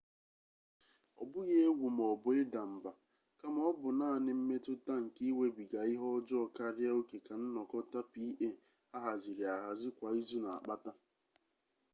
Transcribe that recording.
ọ bụghị egwu maọbụ ịda mba kama ọ bụ naanị mmetụta nke iwebiga ihe ọjọọ karịa oke ka nnọkọta pa ahaziri ahazi kwa izu na-akpata